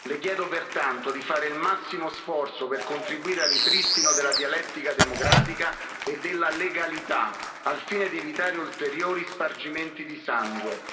Le chiedo, pertanto, di fare il massimo sforzo per contribuire al ripristino della dialettica democratica e della legalità, al fine di evitare ulteriori spargimenti di sangue.